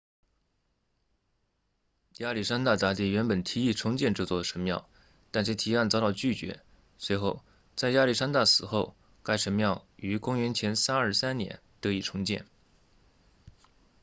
亚历山大大帝原本提议重建这座神庙但其提案遭到拒绝随后在亚历山大死后该神庙于公元前323年得以重建